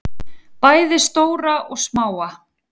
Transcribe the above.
Bæði stóra og smáa.